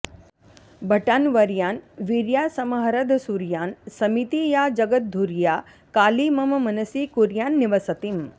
भटान्वर्यान् वीर्यासमहरदसूर्यान् समिति या जगद्धुर्या काली मम मनसि कुर्यान्निवसतिम्